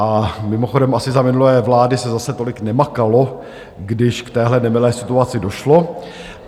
A mimochodem asi za minulé vlády se zase tolik nemakalo, když k téhle nemilé situaci došlo.